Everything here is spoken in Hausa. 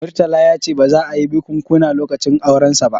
Murtala ya ce ba za a yi bikunkuna lokacin aurensa ba